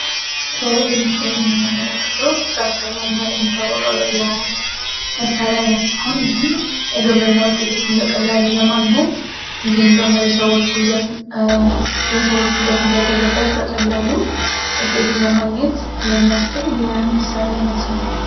ከላይ በምችላይ የሚንመለከተው ትራክተር በመበር የሚታወጋዊ የመሣሪያ ዓይነት ሲሆን ይህም የግብር እና ውጤቶችን በቀላሉ ለማግኘት እንዲሁም ደግሞ የሰዎች ጉልበት እንዳይበዘበዝ በቀላሉ ውጤትን ለማግኘት የሚያስችል የመሣሪያ ዓይነት ነው።